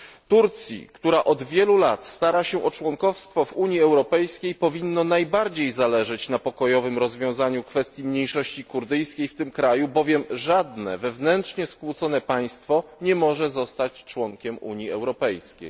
Turcji, która od wielu lat stara się o członkostwo w Unii Europejskiej, powinno najbardziej zależeć na pokojowym rozwiązaniu kwestii mniejszość kurdyjskiej w tym kraju, bowiem żadne wewnętrznie skłócone państwo nie może zostać członkiem Unii Europejskiej.